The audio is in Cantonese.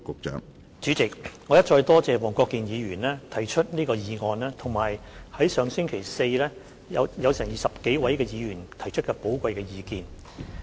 主席，我一再多謝黃國健議員提出這項議案，以及在上星期四有20多位議員提出的寶貴意見。